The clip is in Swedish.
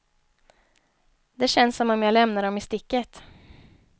Det känns som om jag lämnar dem i sticket.